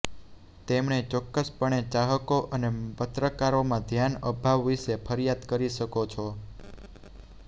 તેમણે ચોક્કસપણે ચાહકો અને પત્રકારોમાં ધ્યાન અભાવ વિશે ફરિયાદ કરી શકો છો